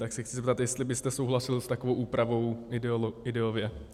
Tak se chci zeptat, jestli byste souhlasil s takovou úpravou ideově.